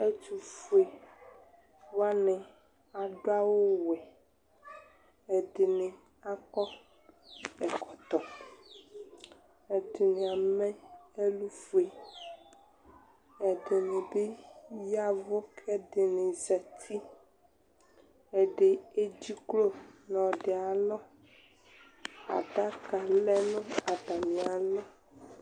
ɛtufuewanɩ adʊ awʊ wɛ, ɛdɩnɩ akɔ ɛkɔtɔ, ɛdɩnɩ amɛ ɛlufue, ɛdɩnɩbɩ yavʊ, kʊ ɛdɩnɩ zati, ɛdɩta ama adʊku nʊ uti nʊ ɔlɔdɩ ayʊ alɔ, adaka lɛ nʊ atamialɔ